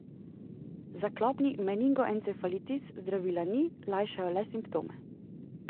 Za klopni meningoencefalitis zdravila ni, lajšajo le simptome.